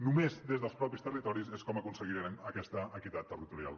només des dels mateixos territoris és com aconseguirem aquesta equitat territorial